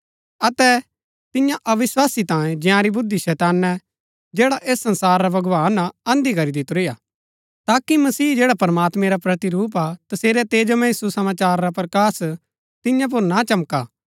अतै तियां अविस्वासी तांयें जंयारी बुद्धि शैतानै जैड़ा ऐस संसारा रा भगवान हा अंधी करी दितुरी हा ताकि मसीह जैडा प्रमात्मैं रा प्रतिरूप हा तसेरै तेजोमय सुसमाचार रा प्रकाश तियां पुर ना चमका